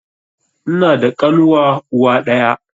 Ina da ƙanuwa uwa ɗaya